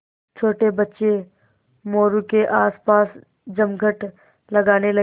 छोटे बच्चे मोरू के आसपास जमघट लगाने लगे